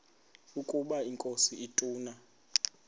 ukaba inkosi ituna